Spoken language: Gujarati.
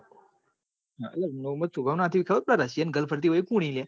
મોહમદ સુભમ ના હધી પેલી રશિયન gals ફરી એ કુન હી લાયા